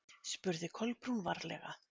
spurði Kolbrún varlega.